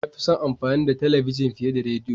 Na fi son amfani da talabijin fiye da rediyo.